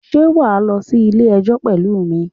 Sé wà á lọ sí Ilé ẹjọ́ pẹ̀lú mi?